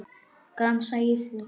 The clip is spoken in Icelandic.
Gramsa í því.